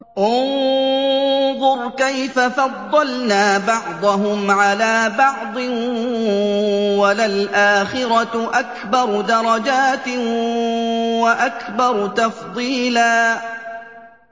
انظُرْ كَيْفَ فَضَّلْنَا بَعْضَهُمْ عَلَىٰ بَعْضٍ ۚ وَلَلْآخِرَةُ أَكْبَرُ دَرَجَاتٍ وَأَكْبَرُ تَفْضِيلًا